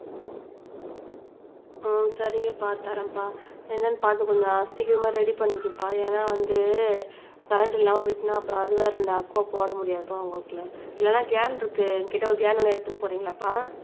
அஹ் சரிங்கப்பா தரேன்பா என்னன்னு பார்த்து கொஞ்சம் சீக்கிரம் ரெடி பண்ணிக்கப்பா ஏன்னா வந்து கரண்ட் இல்லாம போயிடுச்சுன்னா அப்புறம் அது வேற ரெண்டு போட முடியாதுப்பா இல்லன்னா இல்லன்னா கேன் இருக்கு என்கிட்ட ஒரு கேன் வேணும்னா எடுத்துன்னு போறீங்களாப்பா